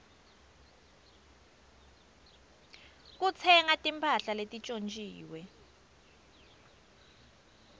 kutsenga timphahla letintjontjiwe